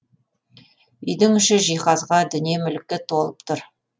үйдің іші жиһазға дүние мүлікке толып тұр